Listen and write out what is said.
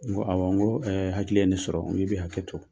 N ko awɔ n ko ɛɛ hakili ye ne sɔrɔ n k'i bɛ hakɛ to